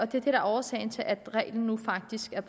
det er årsagen til at reglen nu faktisk